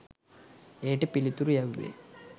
එයට පිළිතුරු යැව්වේ